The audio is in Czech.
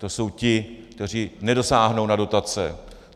To jsou ti, kteří nedosáhnou na dotace.